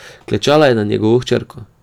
Klečala je nad njegovo hčerko.